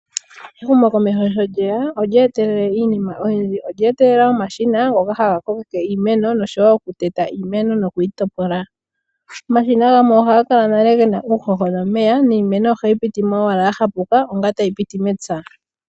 Ehumokomeho sho lyeya olye etelele iinima oyindji, olye etelela omashina ngoka haga kokeke iimeno noshowo okuteta iimeno nokuyi topola. Omashina gamwe ohaga kala nale gena uuhoho nomeya niimeno ohayi piti mo owala ya hapuka, onga tayi piti mepya.